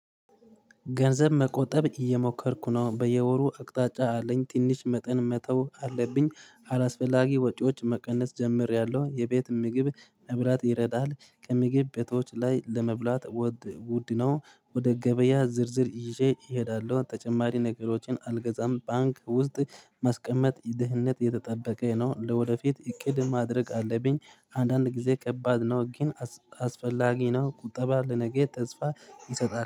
ገንዘብ መቆጠብ እየሞከርኩ ነው በየወሩ አቅጣጫ አለኝ ትንሽ መጠን መተው አለብኝ አላስፈላጊ ወጪዎች መቀነስ ጀምሬያለሁ። የቤት ምግብ መብላት ይረዳል ከምግብ ቤቶች ላይ ለመብላት ወድ ውድ ነው። ወደ ገበያ ዝርዝር ይዤ እሄዳለሁ ተጨማሪ ነገሮችን አልገዛም። ባንክ ውስጥ ማስቀመጥ ይድህነት የተጠበቀ ነው። ለወደፊት እቅድ ማድረግ አለብኝ። አንዳንድ ጊዜ ከባድ ነው ግን አስ አስፈላጊ ነው። ቁጠባ ለነገ ተስፋ ይሰጣል